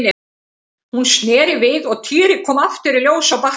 Hún sneri við og Týri kom aftur í ljós á bakkanum.